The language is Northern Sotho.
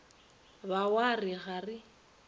ba wa re ga re